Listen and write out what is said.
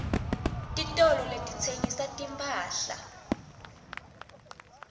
titolo letitsengisa timphahla